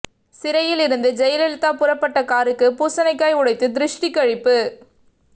சிறையில் இருந்து ஜெயலலிதா புறப்பட்ட காருக்கு பூசணிக்காய் உடைத்து திருஷ்டி கழிப்பு